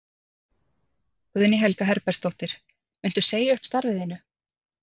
Guðný Helga Herbertsdóttir: Muntu segja upp starfi þínu?